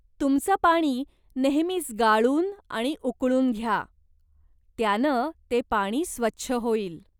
तुमचं पाणी नेहमीच गाळून आणि उकळून घ्या, त्यानं ते पाणी स्वच्छ होईल.